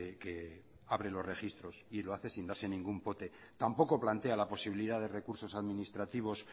que abre los registros y lo hace sin darse ningún pote tampoco plantea la posibilidad de recursos administrativos